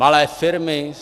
Malé firmy?